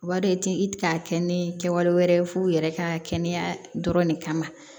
U b'a dɔn i ti i ti ka kɛ ni kɛwale wɛrɛ f'u yɛrɛ ka kɛnɛya dɔrɔn ne kama